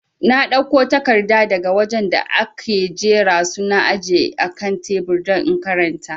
Na dauko takarda daga wajen da ake jera su na aje akan tebur don in karanta